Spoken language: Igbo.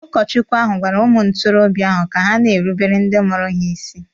Ụkọchukwu ahụ gwara ụmụ ntorobia ahụ ka ha na-erubere ndị mụrụ ha isi.